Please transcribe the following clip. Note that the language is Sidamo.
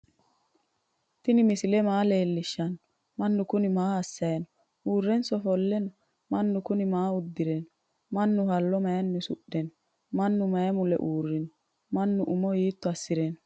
tinni misile maa lwelishani? manu kuni maa asayino? urrenso offle no?manu kuni maa udirino? manu hallo mayini usudhino? maanu mayi mule urino? manu uumo hito asire no?